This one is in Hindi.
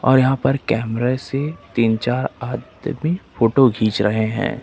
और यहां पर कैमरे से तीन चार आदमी फोटो घिन्च रहे हैं।